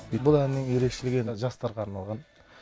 бұл әннің ерекшелігі жастарға арналған